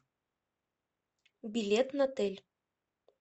билет натэль